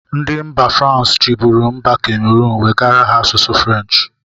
Ndị mba frans chibụru mba kameron wegara ha asụsụ french.